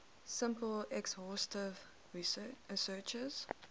simple exhaustive searches